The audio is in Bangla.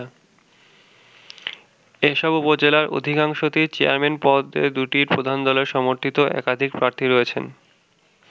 এসব উপজেলার অধিকাংশতেই চেয়ারম্যান পদে দু’টি প্রধান দলের সমর্থিত একাধিক প্রার্থী রয়েছেন।